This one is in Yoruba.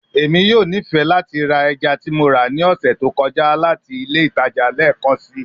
Emi yoo nifẹ lati ra ẹja ti Mo ra ni ọsẹ to kọja lati ile itaja lẹẹkansi